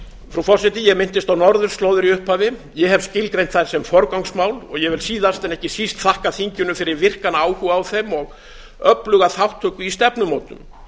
frú forseti ég minntist á norðurslóðir í upphafi ég hef skilgreint þær sem forgangsmál og ég vil síðast en ekki síst þakka þinginu fyrir virkan áhuga á þeim og öfluga þátttöku í stefnumótun